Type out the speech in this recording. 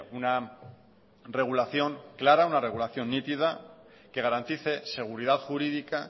una regulación clara una regulación nítida que garantice seguridad jurídica